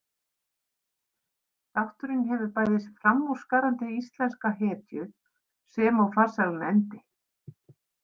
Þátturinn hefur bæði framúrskarandi íslenska hetju sem og farsælan endi.